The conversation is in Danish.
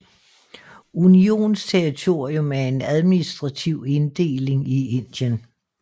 Unionsterritorium er en administrativ inddeling i Indien